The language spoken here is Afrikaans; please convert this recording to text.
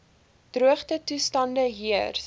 droogte toestande heers